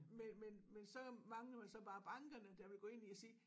Men men så mangler man så bare bankerne der vil gå ind i at sige